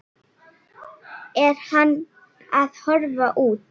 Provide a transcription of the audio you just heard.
Er hann að horfa út?